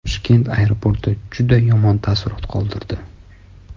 Toshkent aeroporti juda yomon taassurot qoldirdi.